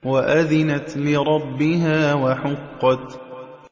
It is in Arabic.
وَأَذِنَتْ لِرَبِّهَا وَحُقَّتْ